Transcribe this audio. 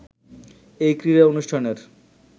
এই ক্রীড়া অনুষ্ঠানের